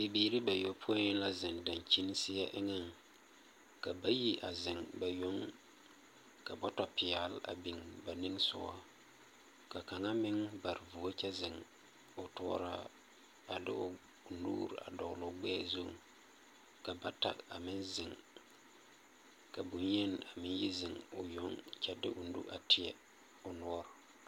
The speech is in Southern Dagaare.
Bibiiri bayopoi la zeŋ dankyiŋ seɛ eŋaŋ, ka bayi a zeŋ ba yoŋ, ka bɔtɔpeɛle a biŋ ba nimisogaŋ, ka kaŋa meŋ bare puori kyɛ zeŋ o tuoraa a de o nuuri a dɔgle o gbɛɛ zuŋ, ka bata a meŋ zeŋ, ka bonyeni a meŋ zeŋ o yoŋ kyɛ de o nu a teɛ o noɔre. 13387